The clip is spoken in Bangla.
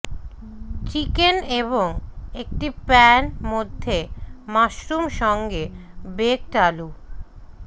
চিকেন এবং একটি প্যান মধ্যে মাশরুম সঙ্গে বেকড আলু